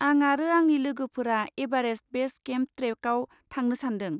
आं आरो आंनि लोगोफोरा एभारेस्ट बेस केम्प ट्रेकआव थांनो सानदों।